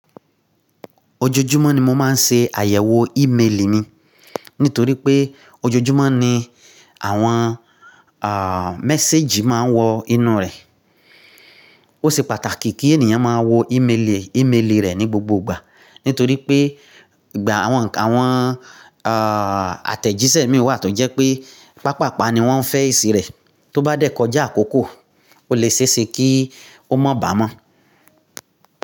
Ojoojúmọ́ ni mo máa ń ṣe àyẹ̀wò ímeèlì mi nítorí pé ojoojúmọ́ ni àwọn ah message máa ń wọ inú rẹ̀. Ó ṣe pàtàkì kí ènìyàn máa wo ímeèlì, ímeèlì rẹ̀ ní gbogbo ìgbà, nítorí pé ìgbà àwọn, àwọn ah àtẹ̀jíṣẹ́ mìíràn wà tó jẹ́ pé, pàpàpa ni wọ́n fẹ́ ìsì rẹ̀, tó bá dẹ̀ kọjá àkókò, o le ṣéeṣe kí ó mọ̀ bà mọ́.